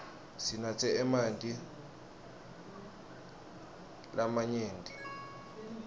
sinatse emanti lamanyenti ngelisuku